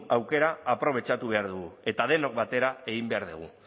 aukera aprobetxatu behar dugu eta denok batera egin behar dugu